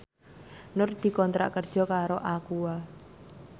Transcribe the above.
Nur dikontrak kerja karo Aqua